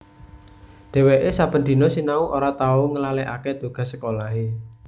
Dheweke saben dina sinau ora tau nglalekake tugas sekolahe